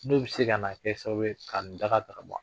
N'o bi se ka na kɛ sababu ye ka ni daga ta ka bɔn an kan.